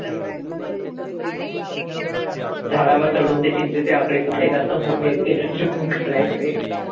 झाडावर चढून ते चिंचेचे आकडे, कुठले जास्त मोठे ते काढायचे.